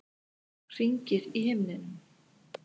Hringir í himninum.